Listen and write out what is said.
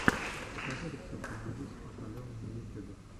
покажи рецепты на бис от алены на ютюбе